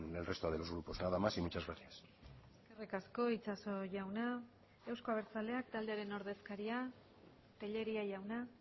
el resto de los grupos nada más y muchas gracias eskerrik asko itxaso jauna euzko abertzaleak taldearen ordezkaria telleria jauna